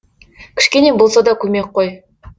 кішкене болса да көмек қой